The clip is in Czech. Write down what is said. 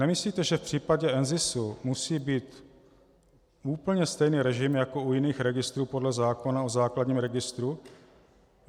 Nemyslíte, že v případě NZIS musí být úplně stejný režim jako u jiných registrů podle zákona o základním registru?